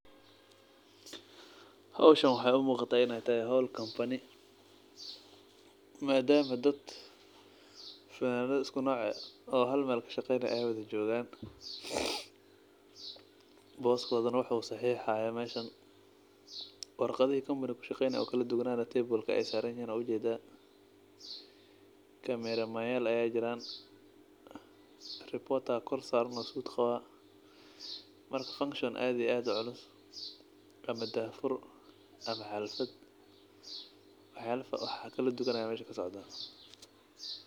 Howshan wexey umuqata in ey tahay howl kambani madama ey dadka haal noc oo fananada ah watan boskodana uu saxixayo meeshan warqadihi kamabiga uu kushaqeynaye ee kaladuwana table ayey saranyihin wad ujeda jeman yal aya jiran reporter suud qawo aya koor san marka function aad iyo uu culus ama daah fur ama xalfad wax kaladuwan aya meesha kasocda.